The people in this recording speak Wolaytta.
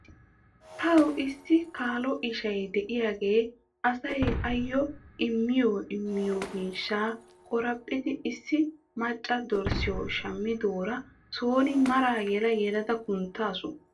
Taw issi kaalo isha diyaagee asay ayyo immiyoo immiyoo miishshaa qoraphphidi issi machcha dorssiyoo shammidoora son maraa yela yelada kunttawttasu.